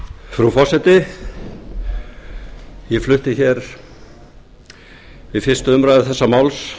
frú forseti ég flutti hér við fyrstu umræðu þessa máls